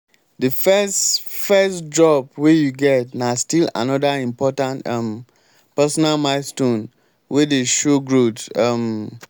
de first first job wey you get na still anoda important um personal milestone wey dey show growth. um